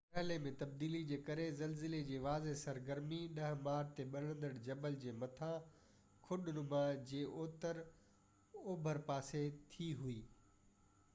مرحلي ۾ تبديلي جي ڪري زلزلي جي واضع سرگرمي 10 مارچ تي ٻرندڙ جبل جي مٿانهن کڏ نما جي اتر اوڀر پاسي ٿي هوئي